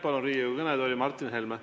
Palun Riigikogu kõnetooli Martin Helme.